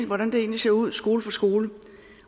hvordan det egentlig ser ud skole for skole